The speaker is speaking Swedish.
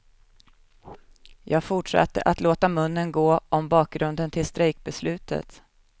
Jag fortsatte att låta munnen gå om bakgrunden till strejkbeslutet.